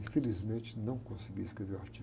Infelizmente, não consegui escrever o artigo.